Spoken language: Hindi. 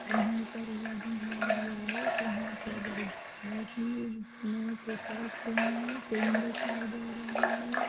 यहाँ पर एक आदमी खड़ा हुआ है यहाँ बहोत बड़ी दुकान रखी हुई है जिसमे पुस्तके पेन दिखाई दे रहा है।